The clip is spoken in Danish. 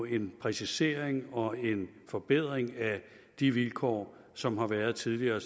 en præcisering og en forbedring af de vilkår som har været tidligere